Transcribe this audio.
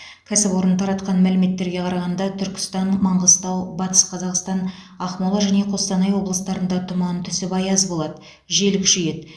кәсіпорын таратқан мәліметтерге қарағанда түркістан маңғыстау батыс қазақстан ақмола және қостанай облыстарында тұман түсіп аяз болады жел күшейеді